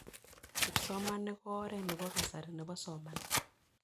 Kipsomanik ko oret nepo kasari nepo somanet